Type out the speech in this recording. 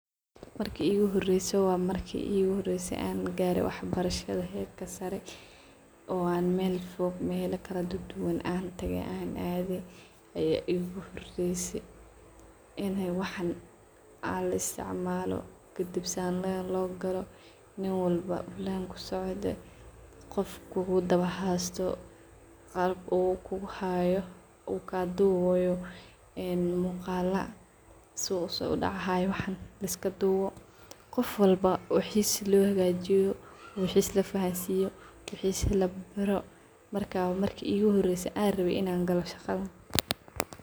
Marki iguhorese wa marki iguhorese an gare waxbarashada herka sare oo mela kaladuduwan an tage an adhe ayaa iguhorese in wixi laisticmalo nin walbo len kusocdho qof kudawa socdho muqal kaduwayo wax walbo shegeyso kaduwayo een muqala su usodacayo waxan liskaduwo. Qof waxis lohagajiyo , waxis labaro, markas waye marka uguhorese an rawe in an galo shaqadan.